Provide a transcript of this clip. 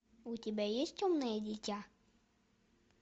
у тебя есть темное дитя